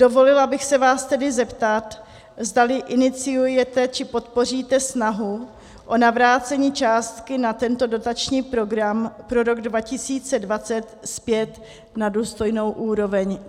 Dovolila bych se vás tedy zeptat, zdali iniciujete či podpoříte snahu o navrácení částky na tento dotační program pro rok 2020 zpět na důstojnou úroveň.